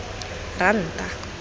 ranta